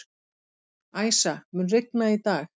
Æsa, mun rigna í dag?